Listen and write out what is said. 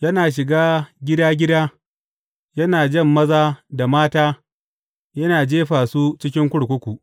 Yana shiga gida gida, yana jan maza da mata yana jefa su cikin kurkuku.